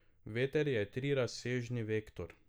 Veter je trirazsežni vektor.